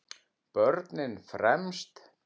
Börnin fremst.